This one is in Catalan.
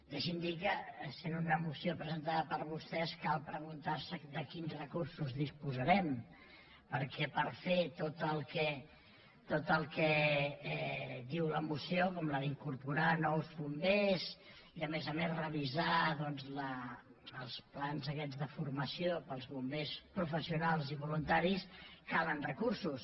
deixi’m dir que sent una moció presentada per vostès cal preguntar se de quins recursos disposarem perquè per fer tot el que diu la moció com incorporar nous bombers i a més a més revisar doncs els plans aquests de formació per als bombers professionals i voluntaris calen recursos